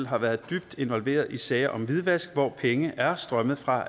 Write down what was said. har været dybt involveret i sager om hvidvask hvor penge er strømmet fra